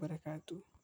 dhigaysa cunto awood.